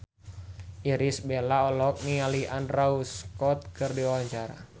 Irish Bella olohok ningali Andrew Scott keur diwawancara